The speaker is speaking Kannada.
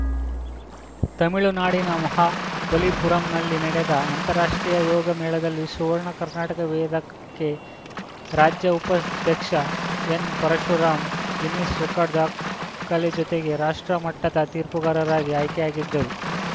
ತಮಿಳುನಾಡಿನ ಮಹಾಬಲಿಪುರಂನಲ್ಲಿ ನಡೆದ ಅಂತಾರಾಷ್ಟ್ರೀಯ ಯೋಗ ಮೇಳದಲ್ಲಿ ಸುವರ್ಣ ಕರ್ನಾಟಕ ವೇದ ಕೆ ರಾಜ್ಯ ಉಪಾಧ್ಯಕ್ಷ ಎನ್‌ಪರಶುರಾಂ ಗಿನ್ನಿಸ್‌ ರೆಕಾರ್ಡರ್ ದಾ ಖಲೆ ಜೊತೆಗೆ ರಾಷ್ಟ್ರ ಮಟ್ಟದ ತೀರ್ಪುಗಾರರಾಗಿ ಆಯ್ಕೆಯಾಗಿದ್ದಾರು